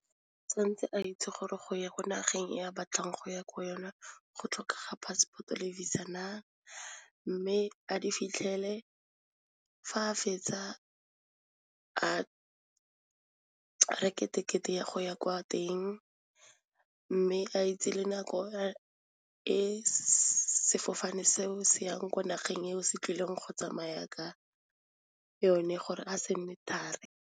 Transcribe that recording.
Tshwanetse a itse gore go ya ko nageng ya batlang go ya ko yona go tlhokega passport-o le visa na, mme a di fitlhele fa a fetsa a reke tekete ya go ya kwa teng, mme a itse le nako e sefofane seo se yang ko nageng eo se tlileng go tsamaya ka yone gore a se nne thari.